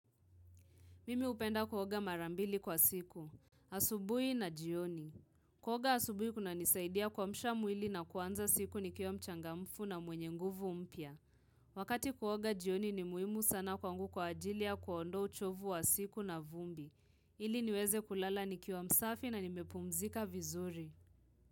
Mimi hupenda kuoga mara mbili kwa siku. Asubuhi na jioni. Kuoga asubuhi kuna nisaidia kuamshama mwili na kuanza siku nikiwa mchangamfu na mwenye nguvu mpya. Wakati kuoga jioni ni muhimu sana kwangu kwa ajili ya kuondoa uchovu wa siku na vumbi. Ili niweze kulala nikiwa msafi na nimepumzika vizuri.